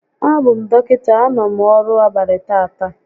A bụ m dọkịta, a nọ m ọrụ abalị tata